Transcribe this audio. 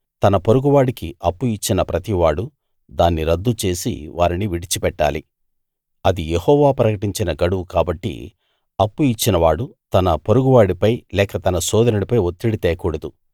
తన పొరుగువాడికి అప్పు ఇచ్చిన ప్రతివాడూ దాన్ని రద్దు చేసి వారిని విడిచిపెట్టాలి అది యెహోవా ప్రకటించిన గడువు కాబట్టి అప్పు ఇచ్చినవాడు తన పొరుగువాడిపై లేక తన సోదరునిపై ఒత్తిడి తేకూడదు